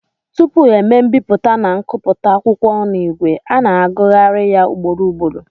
Tupu e mee mbipụta na nkụpụta akwụkwọ n'ìgwè, a na-agụgharị ya ugboro ugboro